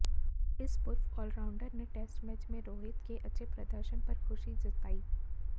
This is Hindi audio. इस पूर्व ऑलराउंडर ने टेस्ट मैच में रोहित के अच्छे प्रदर्शन पर खुशी जतायी